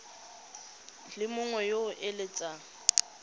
le mongwe yo o eletsang